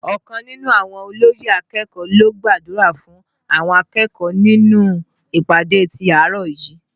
Ọkàn nínú àwọn olóyè akẹ́kọ̀ọ́ ló gbàdúrà fún àwọn akẹ́kọ̀ọ́ nínú ìpàdé ti àárọ̀ yìí